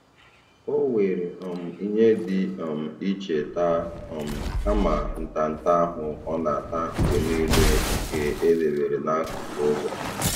O were um ihe dị um iche taa um kama ntanta ahụ ọ na-ata mgbe niile nke e debere n'akụkụ ụzọ.